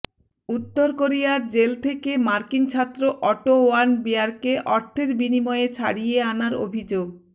উত্তর কোরিয়ার জেল থেকে মার্কিন ছাত্র অটো ওয়ার্মবিয়ারকে অর্থের বিনিময়ে ছাড়িয়ে আনার অভিযোগ